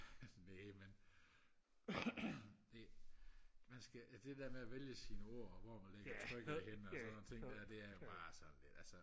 næh men det man skal det der med at vælge sine ord og hvor man ligger trykket henne og sådan nogle ting det er bare sådan